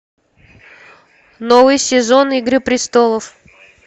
новый сезон игры престолов